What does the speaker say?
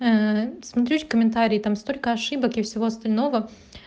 смотреть комментарии там столько ошибок и всего остального